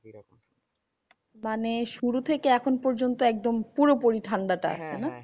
মানে শুরু থেকে এখন পর্যন্ত একদম পুরোপুরি ঠান্ডা টা আছে না?